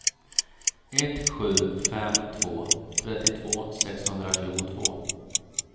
ett sju fem två trettiotvå sexhundratjugotvå